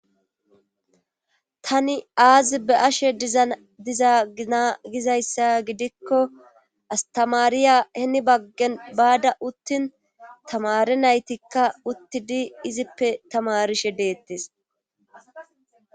Tani aazi be ashe diza ina gizayssa gidikko astamariya henibaggen baada uttin tamare naytikka uttidi izippe tamarishe deettes